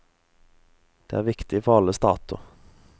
Det er viktig for alle stater.